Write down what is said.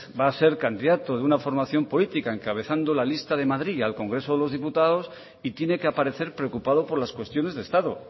va a ser candidato de una formación política encabezando la lista de madrid al congreso de los diputados y tiene que aparecer preocupado por las cuestiones de estado